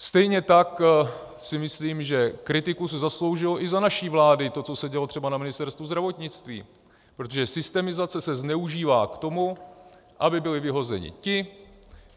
Stejně tak si myslím, že kritiku si zasloužilo i za naší vlády to, co se dělo třeba na Ministerstvu zdravotnictví, protože systemizace se zneužívá k tomu, aby byli vyhozeni ti,